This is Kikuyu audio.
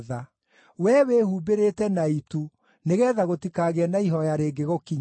Wee wĩhumbĩrĩte na itu nĩgeetha gũtikagĩe na ihooya rĩngĩgũkinyĩra.